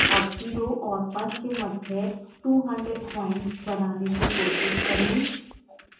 अब 0 और 1 के मध्य 200 प्वाइंट्स बनाने की कोशिश करें